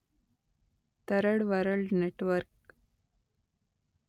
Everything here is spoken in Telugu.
third world network